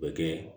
O bɛ kɛ